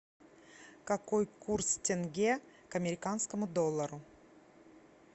какой курс тенге к американскому доллару